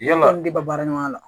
Yalima aw de b'a baara ɲɔgɔnya la